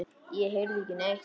Ég heyrði ekki neitt.